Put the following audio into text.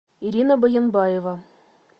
ирина баленбаева